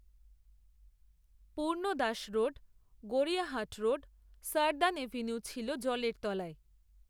পূর্ণ Das road, Gariahat road, southern avenue, ছিল জলের তলায়